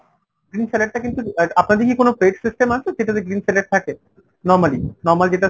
green salad টা কিন্তু আপনাদের কি কোনো plate system আছে যেটাতে green salad থাকে ? normally normal যেটা